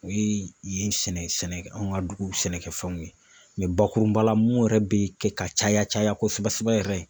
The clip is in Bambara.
O ye yen sɛnɛ anw ka dugu sɛnɛkɛfɛnw ye mɛ bakurunba la mun yɛrɛ be kɛ ka caya caya kosɛbɛ sɛbɛ yɛrɛ ye.